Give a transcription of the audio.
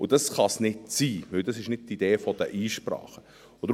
Dies kann nicht sein, weil dies nicht die Idee der Einsprache ist.